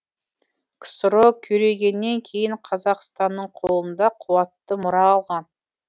ксро күйрегеннен кейін қазақстанның қолында қуатты мұра алған